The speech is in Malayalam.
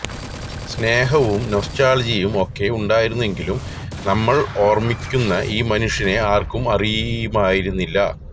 സ്നേഹവും നൊസ്റ്റാള്ജിയയും ഒക്കെ ഉണ്ടായിരുന്നെങ്കിലും നമ്മള് ഓര്മ്മിക്കുന്ന ഈ മനുഷ്യനെ ആര്ക്കും അറിയുമായിരുന്നില്ല